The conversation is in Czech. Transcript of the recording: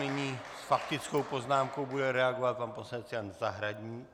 Nyní s faktickou poznámkou bude reagovat pan poslanec Jan Zahradník.